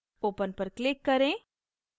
open पर click करें